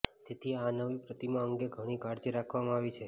જેથી આ નવી પ્રતિમા અંગે ઘણી કાળજી રાખવામાં આવી છે